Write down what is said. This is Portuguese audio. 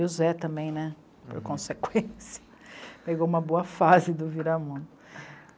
E o Zé também, né, por consequência, pegou uma boa fase do Viramundo.